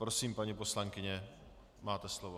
Prosím, paní poslankyně, máte slovo.